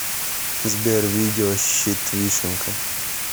сбер видео щит вишенка